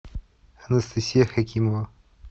анастасия хакимова